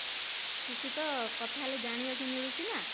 କିଛି ତ କଥା ହେଲେ ଜାଣିବାକୁ ମିଳୁଛି ନା